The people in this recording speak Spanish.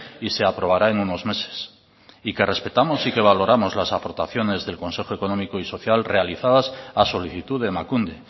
y se aprobará en unos meses y que respetamos y que valoramos las aportaciones del consejo económico y social realizadas a solicitud de emakunde